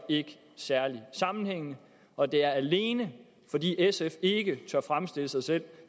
særlig sammenhængende og det er alene fordi sf ikke tør fremstille sig selv